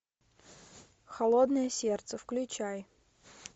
холодное сердце включай